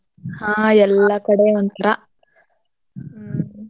ಹಾ ಎಲ್ಲಾ ಕಡೆ ಒಂಥ್ರ. ಹ್ಮ್.